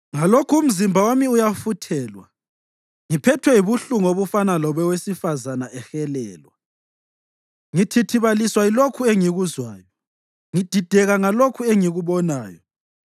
Ngalokhu umzimba wami uyafuthelwa, ngiphethwe yibuhlungu obufana lobowesifazane ehelelwa. Ngithithibaliswa yilokhu engikuzwayo, ngidideka ngalokhu engikubonayo.